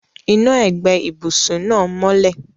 Iná ẹ̀gbẹ́ ibùsùn náà mọ́lẹ̀.